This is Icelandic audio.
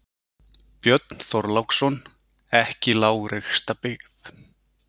Björn Þorláksson: Ekki lágreista byggð?